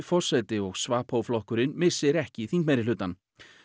forseti og flokkurinn missi ekki þingmeirihlutann